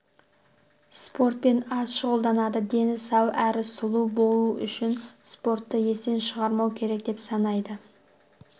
спортпен аз шұғылданады дені сау әрі сұлу болу үшін спортты естен шығармау керек деп санайды